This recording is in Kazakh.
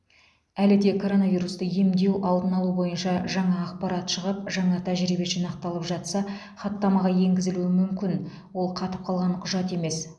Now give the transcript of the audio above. әлі де коронавирусты емдеу алдын алу бойынша жаңа ақпарат шығып жаңа тәжірибе жинақталып жатса хаттамаға енгізілуі мүмкін ол қатып қалған құжат емес